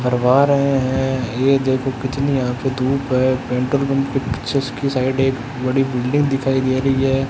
करवा रहे है। ये देखो कितनी यहां पे धूप है। पेट्रोल पंप पे पीछे की साइड एक बड़ी बिल्डिंग दिखाई दे रही है।